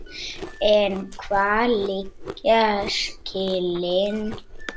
En hvar liggja skilin?